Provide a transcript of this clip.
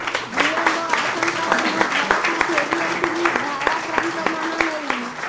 ବିଳମ୍ୱ ଆଶଙ୍କାରେ ମୁଁ ଘରକୁ ଫେରି ଆସିଲି ଭାରାକ୍ରାନ୍ତ ମନ ନେଇ